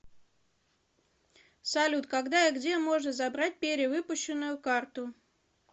салют когда и где можно забрать перевыпущенную карту